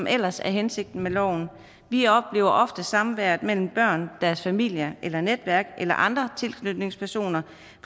ellers er hensigten med loven vi oplever ofte samværet mellem børn og deres familier eller netværk eller andre tilknytningspersoner